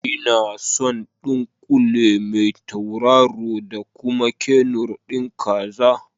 Inason ɗunkule Mai tauraro da kuma knor ɗin kaza